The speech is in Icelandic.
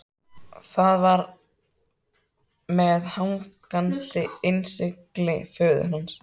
Það var með hangandi innsigli föður hans.